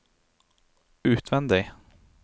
utvendig